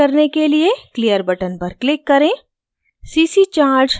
window को खाली करने के लिए clear button पर click करें